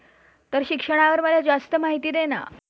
तर शिक्षणावर मला जास्त माहिती दे ना.